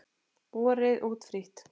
Borið út frítt.